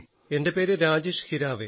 എൻറെ പേര് രാജേഷ് ഹിരാവേ